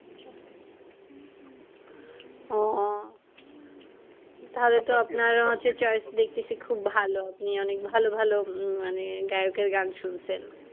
ও তাহলে তো আপনার হচ্ছে choice দেখতেছি খুব ভালো আপনি অনেক ভালো ভালো মানে গায়কের গান শুনছেন।